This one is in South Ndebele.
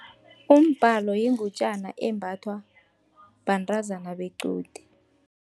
Umbhalo yingutjana embathwa bantazana bequde.